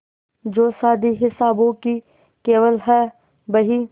जो शादी हिसाबों की केवल है बही